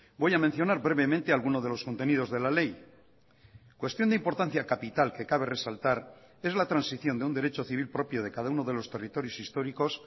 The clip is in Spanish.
voy a mencionar brevemente alguno de los contenidos de la ley cuestión de importancia capital que cabe resaltar es la transición de un derecho civil propio de cada uno de los territorios históricos